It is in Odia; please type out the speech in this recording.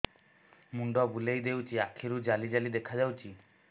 ମୁଣ୍ଡ ବୁଲେଇ ଦେଉଛି ଆଖି କୁ ଜାଲି ଜାଲି ଦେଖା ଯାଉଛି